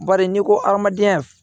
Bari n'i ko adamadenya